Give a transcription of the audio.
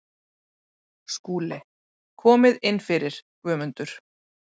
SKÚLI: Komið inn fyrir, Guðmundur.